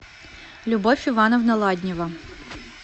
любовь ивановна ладнева